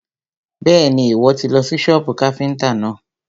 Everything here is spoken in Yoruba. Bẹ́ẹ̀ni, Ìwọ́ tì lọ sí sọ́bù káfíntà náà.